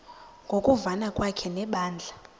ngokuvana kwakhe nebandla